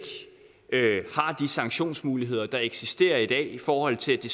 sanktionsmuligheder der eksisterer i dag i forhold til at det